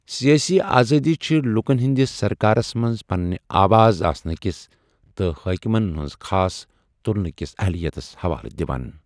سیٲسی آزٲدی چھے لوكن ہندِس سركارس منز پننہِ آواز آسنہٕ کِس تہٕ حٲكِمن ہٕنٛز خاص تُلنہٕ كِس اہلِیَتس حوالہٕ دِوان ۔